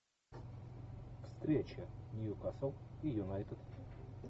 встреча ньюкасл и юнайтед